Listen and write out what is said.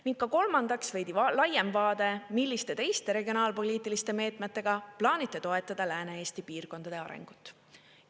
" Ning kolmandaks, veidi laiem vaade: "Milliste teiste regionaalpoliitiliste meetmetega plaanite toetada Lääne-Eesti piirkondade arengut?